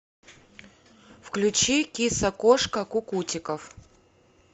включи киса кошка кукутиков